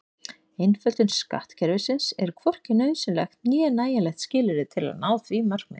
Einföldun skattkerfisins er hvorki nauðsynlegt né nægjanlegt skilyrði til að ná því markmiði.